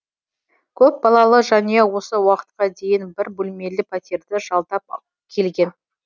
көпбалалы жанұя осы уақытқа дейін бір бөлмелі пәтерді жалдап келген